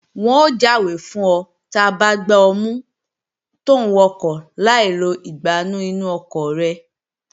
Wọn ó jáwé fún ọ ta bá gbá ọ mú tòún wakọ̀ láì lo ìgbánú inú ọkọ̀ rẹ